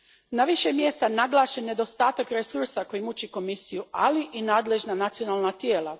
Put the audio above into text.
Na više je mjesta naglašen nedostatak resursa koji muči Komisiju, ali i nadležna nacionalna tijela.